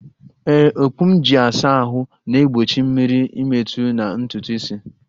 Ee, okpu m ji asa ahụ na-egbochi mmiri ịmetụ na ntutu isi